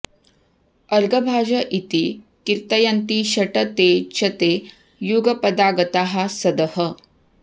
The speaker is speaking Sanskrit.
अर्घभाज इति कीर्तयन्ति षट् ते च ते युगपदागताः सदः